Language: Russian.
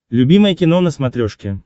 любимое кино на смотрешке